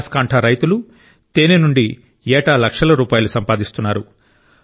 బనాస్ కాంఠ రైతులు తేనె నుండి ఏటా లక్షల రూపాయలు సంపాదిస్తున్నారు